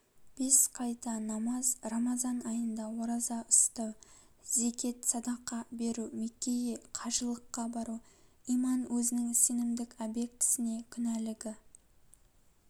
бес қайта намаз рамазан айында ораза ұстау зекет садақа беру меккеге қажылыққа бару иман өзінің сенімдік объектісіне күнәлігі